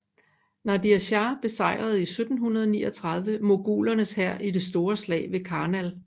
Nadir Shah besejrede i 1739 mogulernes hær i det store slag ved Karnal